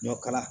Ɲɔ kala